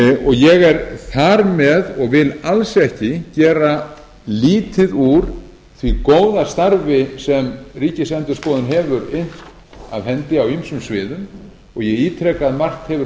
ég er þar með og vil alls ekki gera lítið úr því góða starfi sem ríkisendurskoðun hefur innt af hendi á ýmsum sviðum ég ítreka að margt hefur